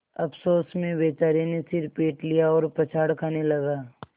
अफसोस में बेचारे ने सिर पीट लिया और पछाड़ खाने लगा